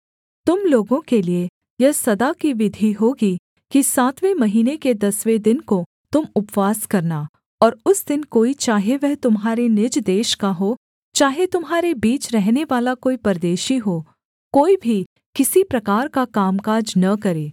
तुम लोगों के लिये यह सदा की विधि होगी कि सातवें महीने के दसवें दिन को तुम उपवास करना और उस दिन कोई चाहे वह तुम्हारे निज देश का हो चाहे तुम्हारे बीच रहनेवाला कोई परदेशी हो कोई भी किसी प्रकार का कामकाज न करे